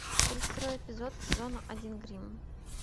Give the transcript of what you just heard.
тридцать второй эпизод сезона один гримм